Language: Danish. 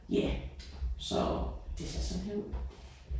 Ja så det ser sådan her ud